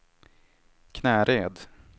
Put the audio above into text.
Knäred